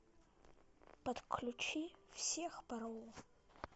подключи всех порву